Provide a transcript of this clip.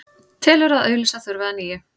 Telur að auglýsa þurfi að nýju